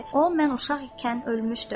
O mən uşaq ikən ölmüşdü.